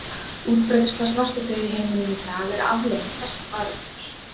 Útbreiðsla svartadauða í heiminum í dag er afleiðing þessa faraldurs.